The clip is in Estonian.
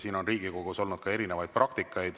Siin Riigikogus on olnud erinevat praktikat.